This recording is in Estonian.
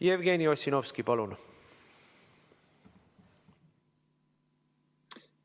Jevgeni Ossinovski, palun!